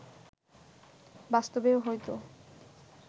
বাস্তবেও হয়তো